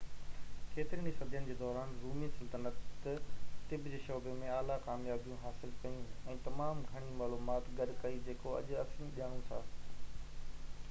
ڪيترين ئي صدين جي دوران، رومي سلطنت طب جي شعبي ۾ اعليٰ ڪاميابيون حاصل ڪيون ۽ تمام گهڻي معلومات گڏ ڪئي جيڪو اڄ اسين ڄاڻو ٿا